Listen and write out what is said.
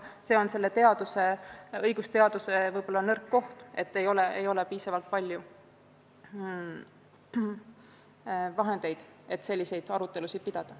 See on selle õigusteaduse haru nõrk koht, seda enam, et ei ole piisavalt vahendeid, et selliseid arutelusid pidada.